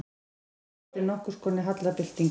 Skírnis eftir nokkurskonar hallarbyltingu.